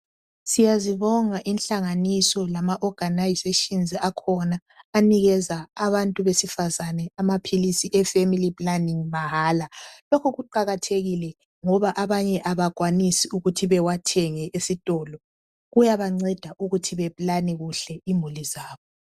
Siyazibonga inhlanganiso, lama organisations akhona, anika abantu besifazana amaphilisi eFamily planning mahala. Lokhu kuqakathekile, ngoba abanye kabakwanisi, ukuthi bawathenge esitolo. Kuyabanceda ukuthi beplane kuhle imuli zabo.